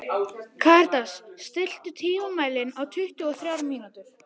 Karítas, stilltu tímamælinn á tuttugu og þrjár mínútur.